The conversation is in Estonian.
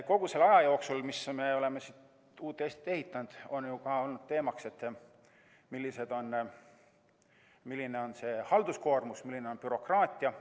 Kogu selle aja jooksul, kui me oleme uut Eestit ehitanud, on olnud teemaks, milline on halduskoormus, milline on bürokraatia.